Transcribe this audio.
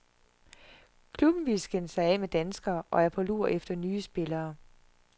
Klubben vil skille sig af med danskere og er på lur efter nye spillere.